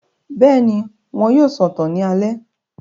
Bẹ́ẹ̀ni, wọn yóò sọ̀tàn ní alẹ́